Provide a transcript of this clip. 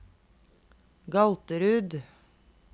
Galterud